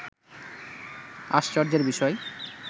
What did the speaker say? আশ্চর্যের বিষয়